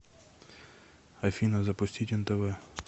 афина запустить нтв